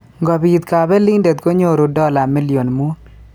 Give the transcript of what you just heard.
Ngobiit kabelindet konyoru dola million muut